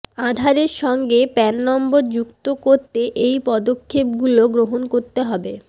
আধারের সঙ্গে প্যান নম্বর যুক্ত করতে এই পদক্ষেপগুলো গ্রহণ করতে হবে